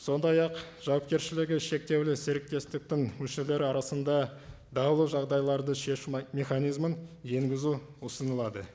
сондай ақ жауапкершілігі шектеулі серіктестіктің мүшелері арасында даулы жағдайларды шешу механизмін енгізу ұсынылады